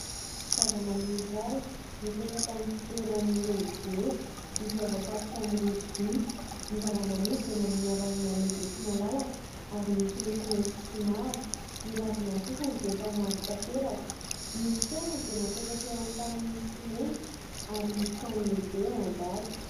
Zava-maniry iray mipetraka amin'ny fitoerany lehibe izay voafatotra amin'ny rojo vy. Ny zava-maniry dia manana ravina lehibe sy malalaka ary misy loko mainty sy mavo. Ny ravina sasany dia efa mavo tanteraka. Ny fitoerany dia napetraka eo amin'ny tany misy simenitra ary misy trano lehibe ao ambadika.